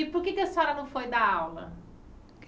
E por que é que a senhora não foi dar aula?